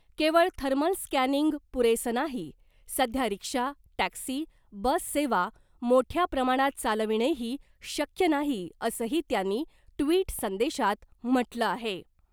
केवळ thermal scanning पुरेसं नाही , सध्या रिक्षा , टॅक्सी , बस सेवा मोठ्या प्रमाणात चालविणेही शक्य नाही असंही त्यांनी ट्विट संदेशात म्हटलं आहे .